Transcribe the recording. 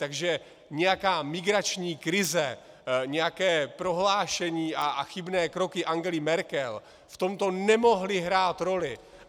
Takže nějaká migrační krize, nějaké prohlášení a chybné kroky Angely Merkel v tomto nemohly hrát roli.